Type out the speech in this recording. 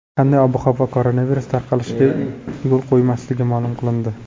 Qanday ob-havo koronavirus tarqalishiga yo‘l qo‘ymasligi ma’lum qilindi.